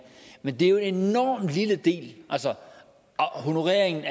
men det er jo en enormt lille del altså honoreringen